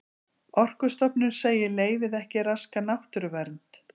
Orkustofnun segir leyfið ekki raska náttúruvernd